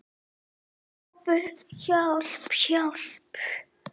Kobbi, hjálp, hjálp.